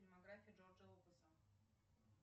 фильмография джорджа лукаса